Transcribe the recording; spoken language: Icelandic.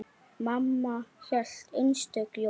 Mamma hélt einstök jól.